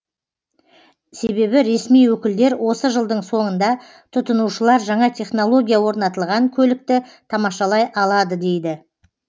себебі ресми өкілдер осы жылдың соңында тұтынушылар жаңа технология орнатылған көлікті тамашалай алады дейді